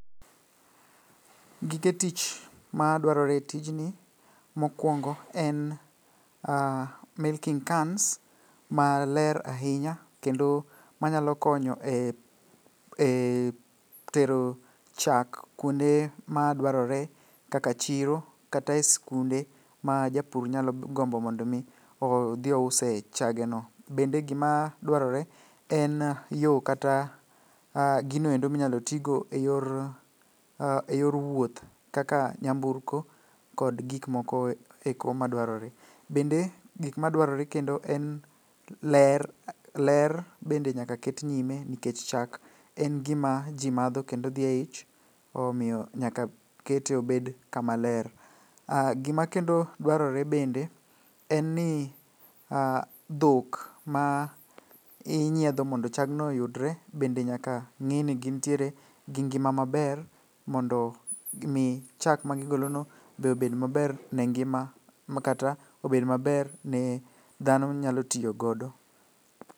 Gige tich madwarore e tijni, mokwongo en milking cans maler ahinya kendo manyalo konyo e tero chak kuonde madwarore kaka chiro kata e skunde ma japur nyalo gombo mondo omi odhiouse chageno. Bende gimadwarore en yo kata ginoendo minyalo tigo e yor wuoth kaka nyamburko kod gikmokoeko madwarore. Bende gikmadwarore kendo en ler bende nyaka ket nyime nikech chak en gima ji madho kendo odhi e ich omiyo nyaka kete obed kama ler. Gimakendo dwarore bende en ni dhok ma inyiedho mondo chagno oyudre bende nyaka ng'i ni gintiere gi ngima maber mondo mi chak magigolono be obed maber ne ngima makata obed maber ne dhano nyalo tiyogodo.